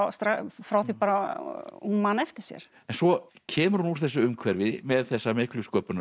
frá því hún man eftir sér en svo kemur hún úr þessu umhverfi með þessa miklu